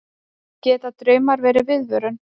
geta draumar verið viðvörun